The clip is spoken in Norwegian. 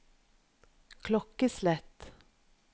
klokkeslett